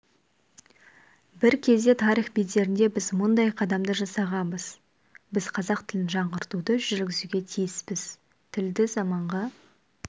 бір кезде тарих бедерінде біз мұндай қадамды жасағанбыз біз қазақ тілін жаңғыртуды жүргізуге тиіспіз тілді заманға